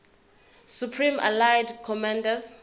supreme allied commander